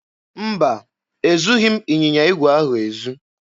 Mba, ezughị m ịnyịnya igwe ahụ ezu.